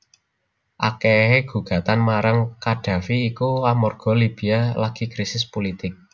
Akehe gugatan marang Qaddafi iku amarga Libya lagi krisis pulitik